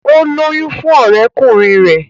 O lóyún fún ọrẹkunrin rẹ.